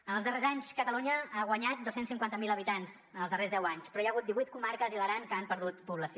en els darrers anys catalunya ha guanyat dos cents i cinquanta miler habitants en els darrers deu anys però hi ha hagut divuit comarques i l’aran que han perdut població